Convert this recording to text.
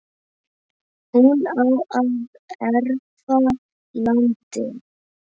hún á að erfa landið.